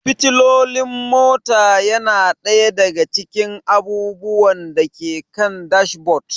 Fitilolin mota yana ɗaya daga cikin abubuwan da ke kan dashboard.